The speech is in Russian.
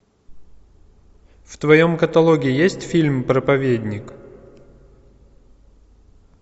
в твоем каталоге есть фильм проповедник